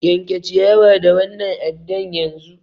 Yanke ciyawa da wannan addan yanzu!